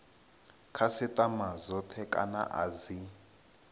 khasitama dzothe kana a dzi